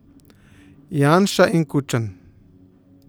Janša in Kučan.